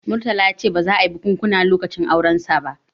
Murtala ya ce ba za a yi bikunkuna lokacin aurensa ba